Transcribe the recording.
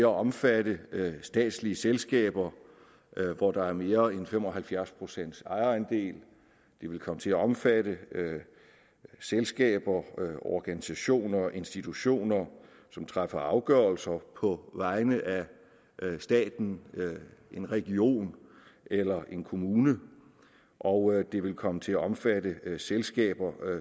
omfatte statslige selskaber hvor der er mere end fem og halvfjerds pcts ejerandel den vil komme til at omfatte selskaber organisationer og institutioner som træffer afgørelser på vegne af staten en region eller en kommune og den vil komme til at omfatte selskaber